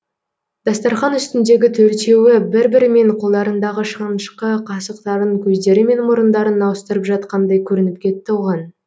дастархан үстіндегі төртеуі бір бірімен қолдарындағы шанышқы қасықтарын көздері мен мұрындарын ауыстырып жатқандай көрініп кетті оған